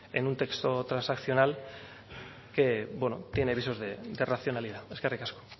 en un texto transaccional que tiene visos de racionalidad eskerrik asko